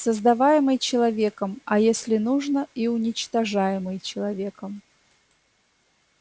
создаваемый человеком а если нужно и уничтожаемый человеком